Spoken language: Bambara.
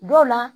Dɔw la